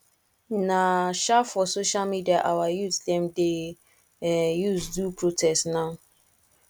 na um for social media our youth dem dey um use do protest now